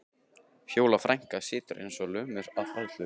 Fjóla frænka situr eins og lömuð af hræðslu.